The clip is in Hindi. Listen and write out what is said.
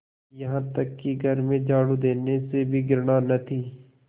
यहाँ तक कि घर में झाड़ू देने से भी घृणा न थी